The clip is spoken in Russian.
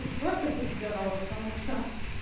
лучше просто быть здоровой потому что